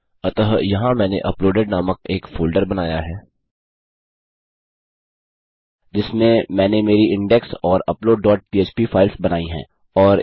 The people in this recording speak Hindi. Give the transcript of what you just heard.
अतः यहाँ मैंने अपलोडेड नामक एक फोल्डर बनाया है जिसमे मैंने मेरी इंडेक्स और अपलोड डॉट पह्प फाइल्स बनायीं है